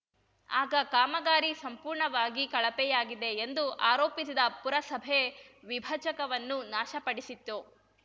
ಆಗ ಕಾಮಗಾರಿ ಸಂಪೂರ್ಣವಾಗಿ ಕಳಪೆಯಾಗಿದೆ ಎಂದು ಆರೋಪಿಸಿದ ಪುರಸಭೆ ವಿಭಜಕವನ್ನು ನಾಶ ಪಡಿಸಿತ್ತು